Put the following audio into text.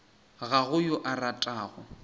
ga go yo a ratago